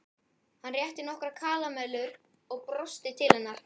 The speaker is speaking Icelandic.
Hann rétti henni nokkrar karamellur og brosti til hennar.